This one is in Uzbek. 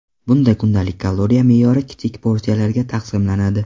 Bunda kundalik kaloriya me’yori kichik porsiyalarga taqsimlanadi.